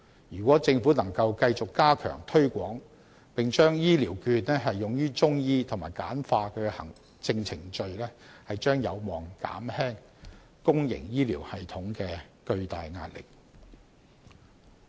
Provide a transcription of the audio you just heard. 如果政府能夠繼續加強推廣，並把醫療券用於中醫及簡化行政程序，將有望減輕公營醫療系統的巨大壓力。